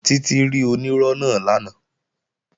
Títí rí onírọ́ náà lánàá